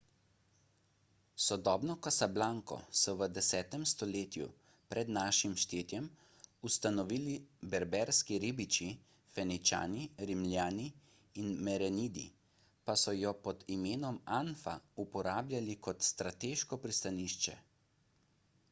sodobno casablanco so v 10 stoletju pr n š ustanovili berberski ribiči feničani rimljani in merenidi pa so jo pod imenom anfa uporabljali kot strateško pristanišče